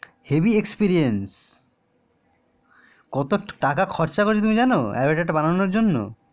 heavy experience কত টাকা খরচ করেছে তুমি যেন অবাতেরটা বানানোর জন্য